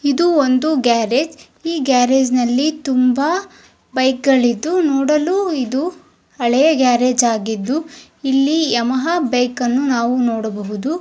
ಇದು ಒಂದು ಗ್ಯಾರೇಜ್ ಈ ಗ್ಯಾರೇಜ್ ನಲ್ಲಿ ತುಂಬಾ ಬೈಕ್ ಗಳಿದ್ದು ನೋಡಲು ಇದು ಹಳೆಯ ಗ್ಯಾರೇಜ್ ಆಗಿದ್ದು ಇಲ್ಲಿ ಯಮಹಾ ಬೈಕ್ ಅನ್ನು ನಾವು ನೋಡಬಹುದು.